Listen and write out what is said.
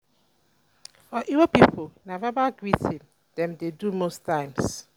for igbo pipo na verbal greeting dem dey do most times